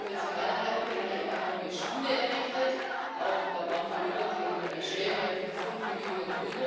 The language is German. Wir haben jetzt in meiner Heimatgemeinde eine neue Schule errichtet. Auch da waren wir über dem Schwellenwert von fünf Millionen.